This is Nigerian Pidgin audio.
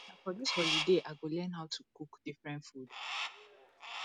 na for dis holiday i go learn how to cook different food